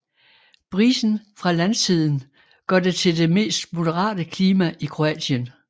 Brisen fra landsiden gør det til det mest moderate klima i Kroatien